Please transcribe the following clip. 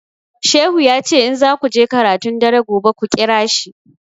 Shehu ya ce in zaku je karatun dare gobe ku ƙira shi